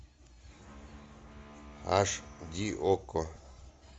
аш ди окко